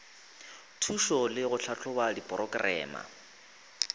thušo le go tlhahloba diporokerama